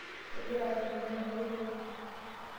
Kgira ashukunye maloito pi.